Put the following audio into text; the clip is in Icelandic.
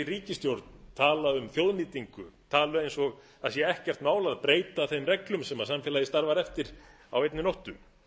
ríkisstjórn tala um þjóðnýtingu tala eins og að ekkert mál sé að breyta þeim reglum sem samfélagið starfar eftir á einni nóttu